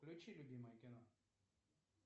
включи любимое кино